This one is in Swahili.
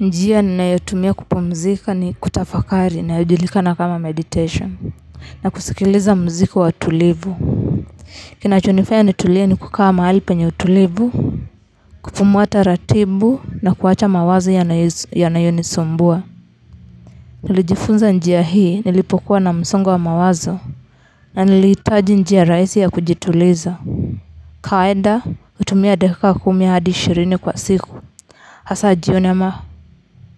Njia ninayotumia kupumzika ni kutafakari inayojulikana kama meditation na kusikiliza mziki wa utulivu kinachonifanya nitulie ni kukaa mahali penye utulivu kupumua taratibu na kuacha mawazo yanayonisumbua nilijifunza njia hii nilipokuwa na msongo wa mawazo na nilihitaji njia rahisi ya kujituliza kawaida hutumia dakika kumi hadi ishirini kwa siku hasa jioni ama